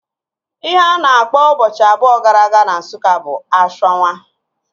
Ihe a na-akpọ ụbọchị abụọ gara aga na Nsụka bụ ashwanwa